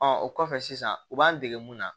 o kɔfɛ sisan u b'an dege mun na